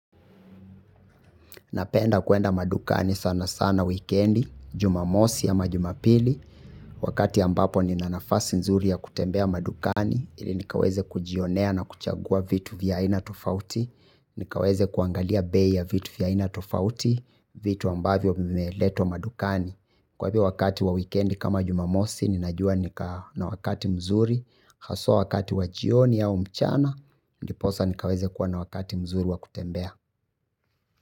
Napenda kuenda madukani sana sana wikendi, jumamosi ama jumapili, wakati ambapo nina nafasi nzuri ya kutembea madukani, ili nikaweze kujionea na kuchagua vitu vya aina tofauti, nikaweze kuangalia bei ya vitu vya aina tofauti, vitu ambavyo vimeletwa madukani. Kwa hivyo wakati wa wikendi kama jumamosi ninajua nika, na wakati mzuri, haswa wakati wa jioni au mchana, ndiposa nikaweze kuwa na wakati mzuri wa kutembea.